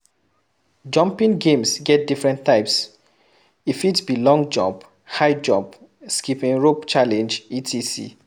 Jumping games get different types e fit be long jump, high jump, skipping rope challenge etc.